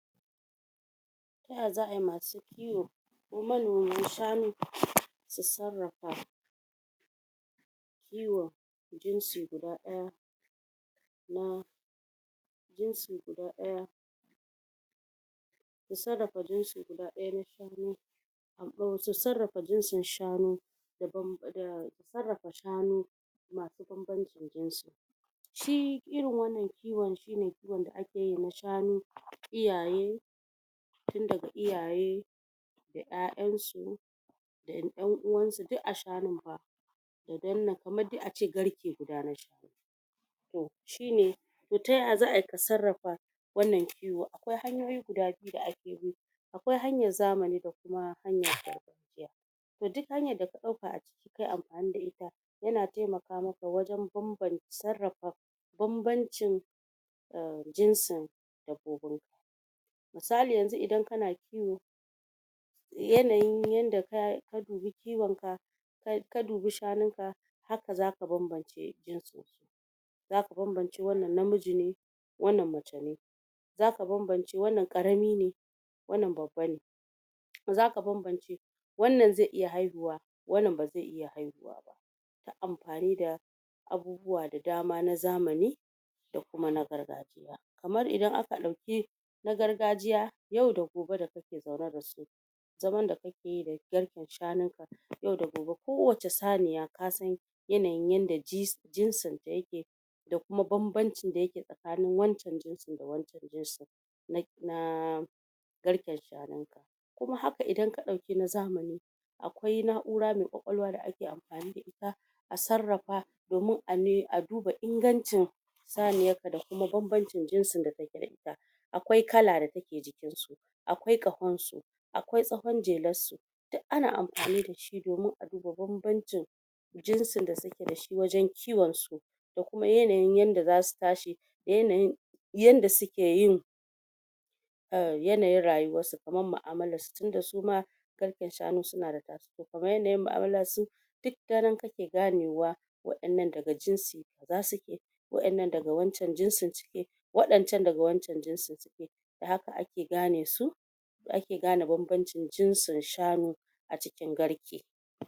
ta ya za'a yi masu kiwo ko manoman shanu su sarrafa kiwan jinsi guda daya na jinsi guda daya su sarrafa jinsi guda daya na shanu su sarrafa jinsin shanu da sarrafa shanu masu babancin jinsi shi irin wannan kiwon shi ne kiwon da ake yi na shanu iyaye tin daga iyaye da yayan su da yan uwansu duk a shanun fa da danna kamar dai ace garke guda na sha toh shi ne ta ya za'a yi ka sarrafa wannan kiwo akwai hanyoyi guda biyu da ake bi akwai hanyar zamani da kuma hanyar gargagiya toh duk hanyan da ka dauka a ciki kayi amfani da ita ya na taimaka maka wajan banbanci sarrafa banbancin um jinsin misali yanzu idan kana kiwo yanayin yanda ka dubi kiwon ka ka dubi shannun ka haka za ka banbance jinsin su zaka banbance wannan namiji ne wannan namace ne zaka banbance wannan karami ne wannan babba ne zaka banbance wannan zai iya haihuwa wannan bazai iya haihuwa ba amfani da abubuwa da dama na zamani da kuma na gargajiya kamar idan aka dauki na gargajiya yau da gobe da ka ke zaune da su zaman da ka ke yi da garken shanun ka yau da gobe ko wace saniya ka san yanayi yan da ji jinsin ta ya ke da kuma babbancin da ya ke tsakanin wancan jinsin da wancan jinsin na um garken shanunka kuma haka idan kadauki na zamani akwai na'ura mai kwakwaluwa da ake amfani da ita a sarrafa domin a ne a duba ingancin saniyar ka da kuma banbancin jinsin da kake da ita akwai kala da take jikin su akwai kahon su akwai tsahon jelarsu duk ana amfani da shi domin a duba banbanci jinsin da su ke da shi wajen kiwon su da kuma yanayin yanda da zasu tashi da yanayin yanda su ke yin um yanayin rayuwarsu kamar mu'amalar su tunda suma garken shanu su na da kaman yanayin mu'amalarsu duk ta nan kake ganewa wa'innan da ga jinsi kaza suke wa'innan da ga wancan jinsin suke wadan can da ga wan can jinsin da haka ake gane su ake ga ne banbancin jinsin shanu a cikin garke